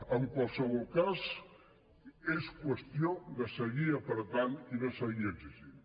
en qualsevol cas és qüestió de seguir apretant i de seguir exigint